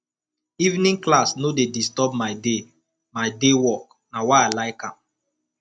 evening class no dey disturb my day my day work na why i like am